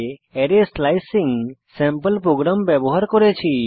array slicing sample program ব্যবহার করেছি